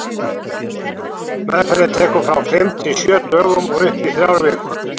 Meðferðin tekur frá fimm til sjö dögum og upp í þrjár vikur.